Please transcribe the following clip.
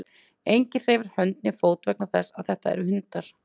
Enginn hreyfir hönd né fót vegna þess að þetta eru hundar.